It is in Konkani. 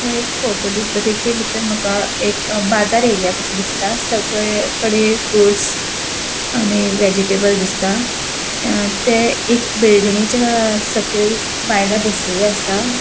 ह्यो एक फोटो दिसता तेजेभितुन माका एक बाजार एरिया कसो दिसता सगळेकडे फ्रुटस आणि वेजिटबल दिसता ते एक बिल्डिंगेच्या सकयल बायला बसलेली आसा.